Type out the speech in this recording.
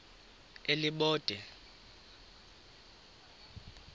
elibode